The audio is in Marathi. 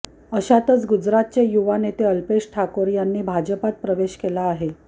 अशातच गुजरातचे युवा नेते अल्पेश ठाकोर यांनी भाजपत प्रवेश केला आहे